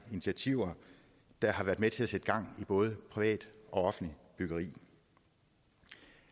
initiativer der har været med til at sætte gang i både privat og offentligt byggeri